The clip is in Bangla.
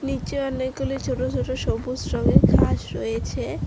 নীচে অনেকগুলি ছোট ছোট সবুজ রঙের ঘাস রয়েছে।